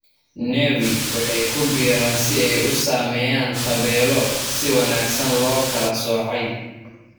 Nevi waxay ku biiraan si ay u sameeyaan tabeelo si wanaagsan loo kala soocay.